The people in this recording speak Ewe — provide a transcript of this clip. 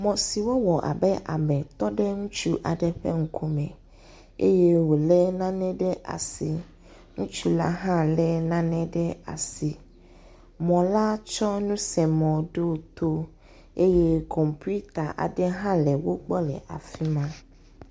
Mɔ si wowɔ abe ame tɔ ɖe ŋutsu aɖe ƒe ŋku me eye wòlé nane ɖe asi ŋutsu la hã lé nane ɖe asi. Mɔ la tsɔ nusemɔ ɖo to eye kɔmpiuta aɖe hã le wogbɔ le afi ma.